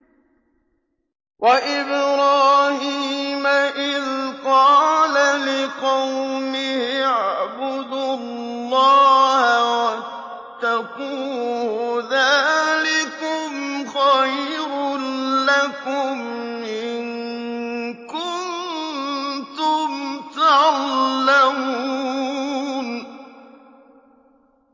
وَإِبْرَاهِيمَ إِذْ قَالَ لِقَوْمِهِ اعْبُدُوا اللَّهَ وَاتَّقُوهُ ۖ ذَٰلِكُمْ خَيْرٌ لَّكُمْ إِن كُنتُمْ تَعْلَمُونَ